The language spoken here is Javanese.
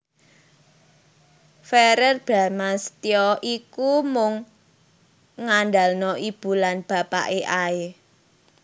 Verrel Bramastya ki mung ngandalno ibu lan bapake ae